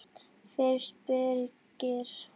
Fyrst Birgir